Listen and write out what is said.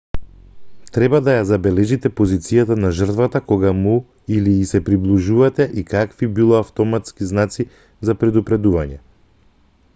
треба да ја забележите позицијата на жртвата кога му или ѝ се приближувате и какви било автоматски знаци за предупредување